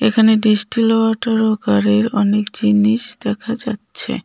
এখানে distil water ও গাড়ির অনেক জিনিস দেখা যাচ্ছে.